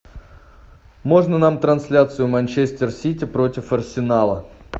можно нам трансляцию манчестер сити против арсенала